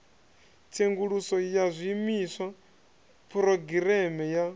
tsenguluso ya zwiimiswa phurogireme ya